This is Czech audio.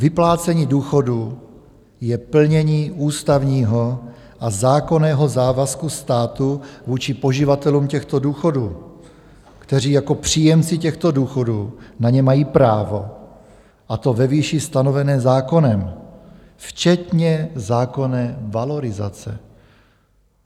Vyplácení důchodů je plnění ústavního a zákonného závazku státu vůči poživatelům těchto důchodů, kteří jako příjemci těchto důchodů na ně mají právo, a to ve výši stanovené zákonem, včetně zákonné valorizace.